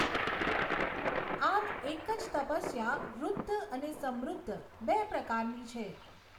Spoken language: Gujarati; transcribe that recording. આમ એક જ તપસ્યા ઋદ્ધ અને સમૃદ્ધ બે પ્રકારની છે.